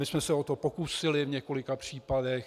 My jsme se o to pokusili v několika případech.